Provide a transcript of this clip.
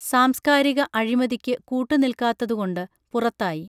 സാംസ്കാരിക അഴിമതിക്ക് കൂട്ടുനിൽക്കാത്തതുകൊണ്ട് പുറത്തായി